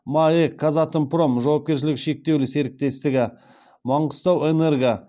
маэк казатомпром жауапкершілігі шектеулі серіктестігі манғыстауэнерго